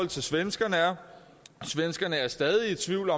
til svenskerne er svenskerne er stadig i tvivl